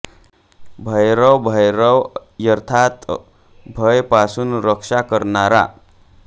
भय रव भैरव अर्थात् भय पासून रक्षा करणारा